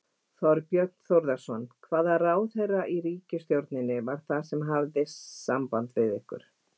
Þorbjörn Þórðarson: Hvaða ráðherra í ríkisstjórninni var það sem hafði samband við ykkur?